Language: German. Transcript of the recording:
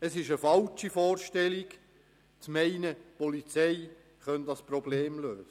Es ist eine falsche Vorstellung, zu meinen, die Polizei könne dieses Problem lösen.